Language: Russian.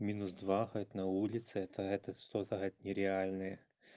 минус два хоть на улице это это что-то нереальное